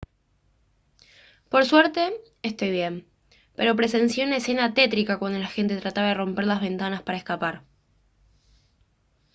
por suerte estoy bien pero presencié una escena tétrica cuando la gente trataba de romper las ventanas para escapar